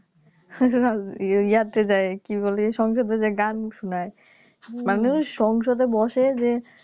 . ইয়া তে যায় কি বলে সংসদ এ যায় গান শুনায় মানুষ সংসদ এ বসে যে